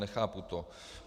Nechápu to.